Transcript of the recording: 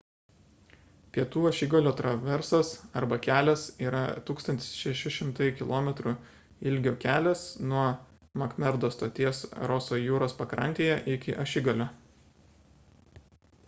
pietų ašigalio traversas arba kelias yra 1600 km ilgio kelias nuo makmerdo stoties roso jūros pakrantėje iki ašigalio